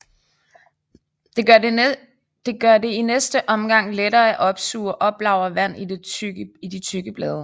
Det gør det i næste omgang lettere at opsuge og oplagre vand i de tykke blade